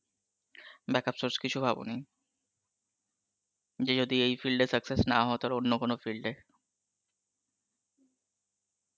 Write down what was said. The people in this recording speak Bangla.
backup source কিছু ভাবনি, যে যদি এই field এ success না হও তাহলে অন্য কোনো field এ